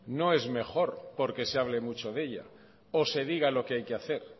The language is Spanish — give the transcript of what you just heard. no es mejor porque se hable mucho de ella o se diga lo que hay que hacer